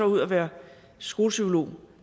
ud og være skolepsykolog